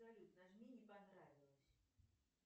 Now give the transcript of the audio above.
салют нажми не понравилось